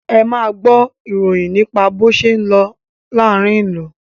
Ẹ máa gbọ́ ìròyìn nípa bó ṣé ń lọ láàárín ìlú!